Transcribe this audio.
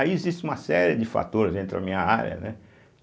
Aí existe uma série de fatores, entrou a minha área, né?